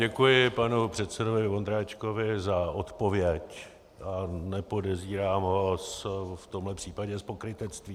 Děkuji panu předsedovi Vondráčkovi za odpověď a nepodezírám ho v tomhle případě z pokrytectví.